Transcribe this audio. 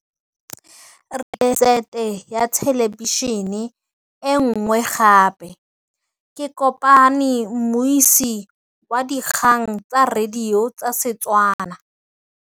Rre o rekile sete ya thêlêbišênê e nngwe gape. Ke kopane mmuisi w dikgang tsa radio tsa Setswana.